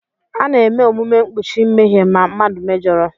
A na-eme omume mkpuchi mmehie ma mmadụ mejọrọ.